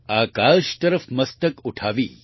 આકાશ તરફ મસ્તક ઉઠાવી